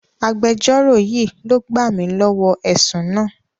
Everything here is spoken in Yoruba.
Agbéjọ́rò yìí ló gbà mi lọ́wọ́ ẹ̀sùn náà.